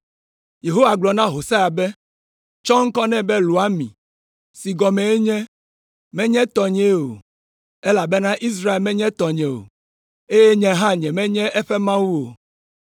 Yehowa gblɔ na Hosea be, “Tsɔ ŋkɔ nɛ be Loami, si gɔmee nye, ‘Menye tɔnyee o,’ elabena Israel menye tɔnye o, eye nye hã nyemenye eƒe Mawu o.